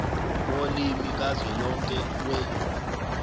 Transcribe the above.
wolimi kazwelonke we